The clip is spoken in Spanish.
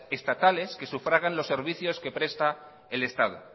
estatales que sufragan los servicios que presta el estado